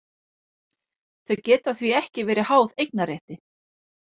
Þau geta því ekki verið háð eignarrétti.